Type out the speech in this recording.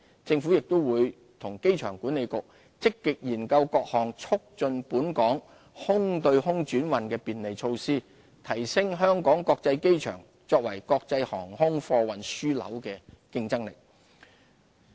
政府亦會與機管局積極研究各項促進本港空對空轉運的便利措施，提升香港國際機場作為國際航空貨運樞紐的競爭力。